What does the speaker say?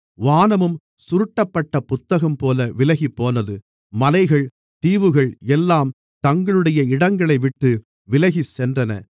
வானமும் சுருட்டப்பட்ட புத்தகம்போல விலகிப்போனது மலைகள் தீவுகள் எல்லாம் தங்களுடைய இடங்களைவிட்டு விலகிச்சென்றன